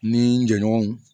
N ni n jɛɲɔgɔnw